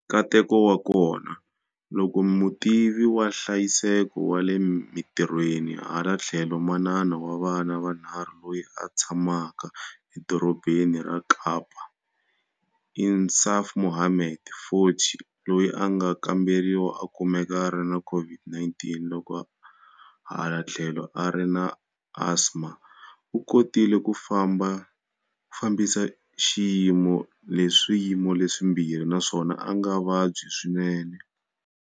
Nkateko wa kona, loko mutivi wa nhlayiseko wa le mitirhweni hala tlhelo manana wa vana vanharhu loyi a tshamaka eDorobeni ra Kapa Insaaf Mohammed, 40, loyi a nga kamberiwa a kumeka a ri na COVID-19 loko hala tlhelo a ri na asma, u kotile ku fambisa swiyimo leswimbirhi naswona a nga vabyi swinene.